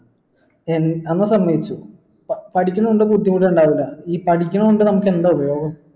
സമ്മയിച്ചു പഠിക്കുന്നൊണ്ട് ബുദ്ധിമുട്ട് ഇണ്ടാവില്ല ഈ പഠിക്കണത് കൊണ്ട് നമുക്കെന്താ ഉപയോഗം